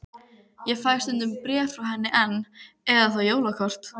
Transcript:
Ég fæ stundum bréf frá henni enn, eða þá jólakort.